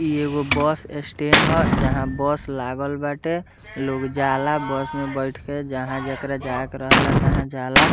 इ एगो bus stand हअ जहाँ बस लागल बाटे लोग जाला बस में बैठ के जहाँ जेकरा जाए के रहेला तहा जाला।